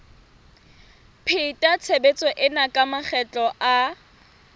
pheta tshebetso ena makgetlo a